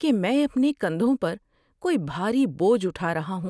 کہ میں اپنے کندھوں پر کوئی بھاری بوجھ اٹھا رہا ہوں۔